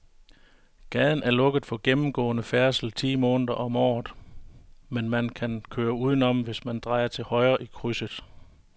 Gaden er lukket for gennemgående færdsel ti måneder om året, men man kan køre udenom, hvis man drejer til højre i krydset.